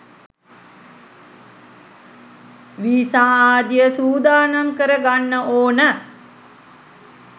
visa ආදිය සූදානම් කර ගන්න ඕන